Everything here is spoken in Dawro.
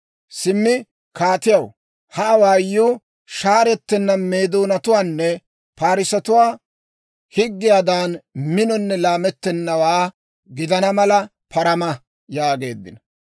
Simmi kaatiyaw, ha awaayuu shaarettenna Meedoonatuwaanne Parssetuwaa higgiyaadan, minonne laamettennawaa gidana mala parama» yaageeddino.